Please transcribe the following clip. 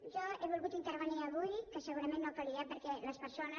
jo he volgut intervenir avui que segurament no calia perquè les persones